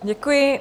Děkuji.